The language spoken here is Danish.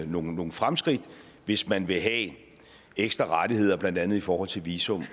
nogle nogle fremskridt hvis man vil have ekstra rettigheder blandt andet i forhold til visum